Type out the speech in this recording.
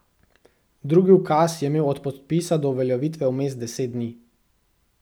Drugi ukaz je imel od podpisa do uveljavitve vmes deset dni.